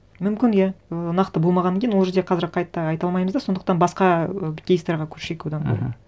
мүмкін иә ыыы нақты болмағаннан кейін ол жерде қазір қайта айта алмаймыз да сондықтан басқа і кейстарға көшейік одан да мхм